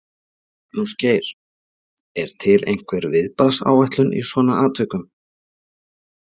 Magnús Geir: Er til einhver viðbragðsáætlun í svona atvikum?